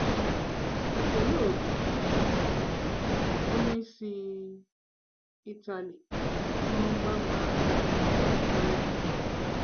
um Paolo, bụ́ um onye si um Ịtali, hụrụ mgbanwe ahụ dị ntorobịa ya.